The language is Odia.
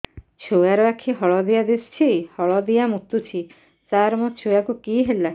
ଛୁଆ ର ଆଖି ହଳଦିଆ ଦିଶୁଛି ହଳଦିଆ ମୁତୁଛି ସାର ମୋ ଛୁଆକୁ କି ହେଲା